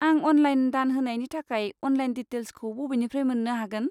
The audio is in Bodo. आं अनलाइन दान होनायनि थाखाय अनलाइन दिटेल्सखौ बबेनिफ्राय मोन्नो हागोन?